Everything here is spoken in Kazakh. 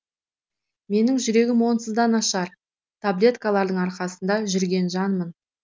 менің жүрегім онсыз да нашар таблеткалардың арқасында жүрген жанмын